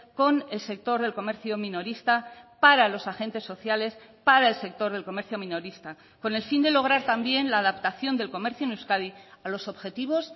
con el sector del comercio minorista para los agentes sociales para el sector del comercio minorista con el fin de lograr también la adaptación del comercio en euskadi a los objetivos